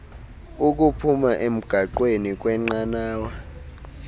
ukuphuma emgaqweni kwnqanawa